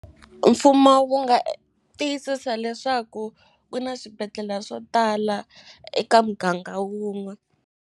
Mfumo wu nga tiyisisa leswaku ku na swibedhlela swo tala eka muganga wun'we.